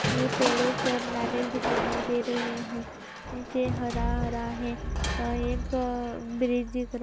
ये पेड़ो पर नारियल दिखाई नहीं दे रहे हैं। नीचे हरा हरा है और अ -एक-अ ब्रिज इधर --